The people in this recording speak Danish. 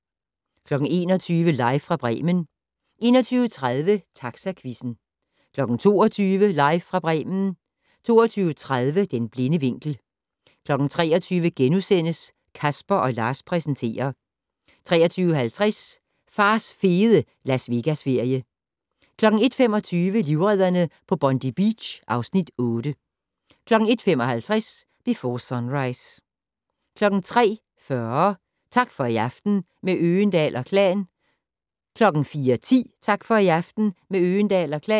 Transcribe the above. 21:00: Live fra Bremen 21:30: Taxaquizzen 22:00: Live fra Bremen 22:30: Den blinde vinkel 23:00: Casper & Lars præsenterer * 23:50: Fars fede Las Vegas-ferie 01:25: Livredderne på Bondi Beach (Afs. 8) 01:55: Before Sunrise 03:40: Tak for i aften - med Øgendahl & Klan 04:10: Tak for i aften - med Øgendahl & Klan